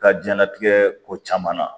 Ka diɲɛlatigɛ ko caman na